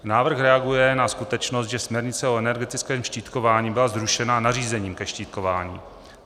Návrh reaguje na skutečnost, že směrnice o energetickém štítkování byla zrušena nařízením ke štítkování.